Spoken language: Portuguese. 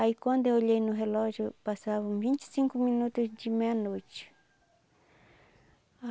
Aí quando eu olhei no relógio, passavam vinte e cinco minutos de meia-noite.